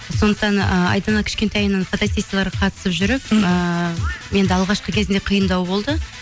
сондықтан ыыы айдана кішкентайынан фотосессияларға қатысып жүріп мхм ыыы енді алғашқы кезінде қиындау болды